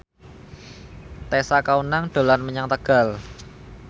Tessa Kaunang dolan menyang Tegal